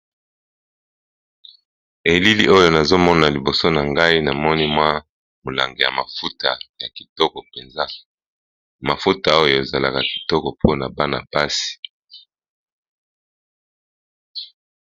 Elili oyo nazomona liboso na ngai na moni mwa molanga ya mafuta ya kitoko mpenza, mafuta oyo ezalaka kitoko mpona bana-basi.